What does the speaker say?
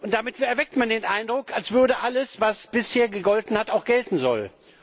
Damit erweckt man den Eindruck, als würde alles, was bisher gegolten hat, auch gelten sollen.